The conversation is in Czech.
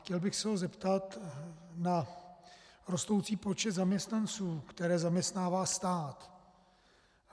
Chtěl bych se ho zeptat na rostoucí počet zaměstnanců, které zaměstnává stát.